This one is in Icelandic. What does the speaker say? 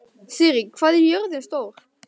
Sirrí, hvað er jörðin stór?